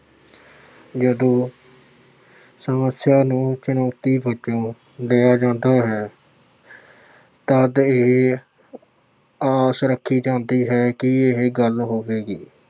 ਜਦੋਂ ਸਮੱਸਿਆ ਨੂੰ ਚੁਣੌਤੀ ਵਜੋਂ ਲਿਆ ਜਾਂਦਾ ਹੈ ਤਦ ਇਹ ਆਸ ਰੱਖੀ ਜਾਂਦੀ ਹੈ ਕਿ ਇਹ ਗੱਲ ਹੋਵੇਗੀ।